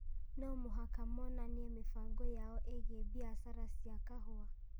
no mũhaka monanie mĩbango yao ĩgiĩ biacara ya kahũa.